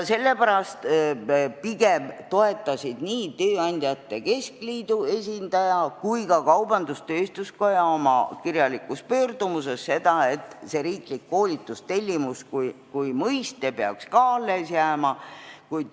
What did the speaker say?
Sellepärast toetasid nii Eesti Tööandjate Keskliidu kui ka Eesti Kaubandus-Tööstuskoja esindaja oma kirjalikus pöördumises pigem seda, et riiklik koolitustellimus kui mõiste peaks alles jääma.